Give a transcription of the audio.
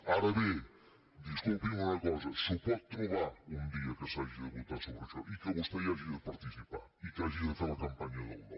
ara bé disculpi’m una cosa s’ho pot trobar un dia que s’hagi de votar sobre això i que vostè hi hagi de participar i que hagi de fer la campanya del no